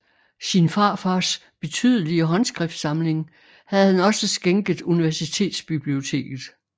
Sin farfars betydelige håndskriftsamling havde han også skænket universitetsbiblioteket